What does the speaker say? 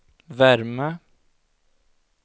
värme